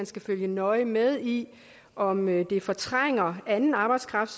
skal følge nøje med i om det fortrænger anden arbejdskraft